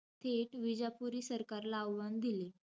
थेट विजापुरी सरकारला आव्हान दिले.